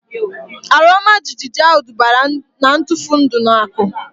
Ala ọma jijiji ahu dubara na ntufu ndụ na akụ